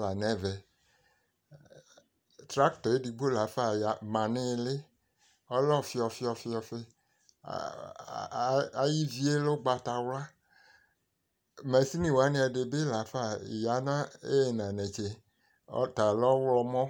la n'ɛvɛ trakta yɛ edigbo la fa ma n'ili ɔlɛ ɔfi ɔfi ɔfi ayi ivi yɛ lɛ ugbata wla mashin wani ɛdi bi la fa ya n'ina netse ɔta lɛ ɔwlɔmɔ